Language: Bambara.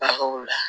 Bagaw la